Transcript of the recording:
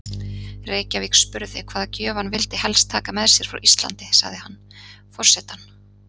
Reykjavík spurði hvaða gjöf hann vildi helst taka með sér frá Íslandi, sagði hann: Forsetann